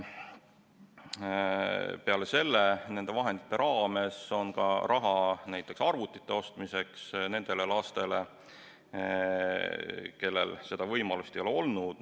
Peale selle on nende vahendite raames raha ka näiteks arvutite ostmiseks nendele lastele, kellel seda võimalust ei ole olnud.